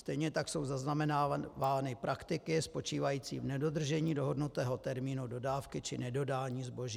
Stejně tak jsou zaznamenávány praktiky spočívající v nedodržení dohodnutého termínu dodávky či nedodání zboží.